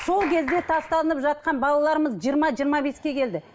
сол кезде тасталынып жатқан балаларымыз жиырма жиырма беске келді